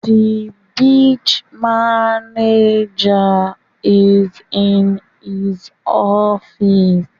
The branch managwer is in his office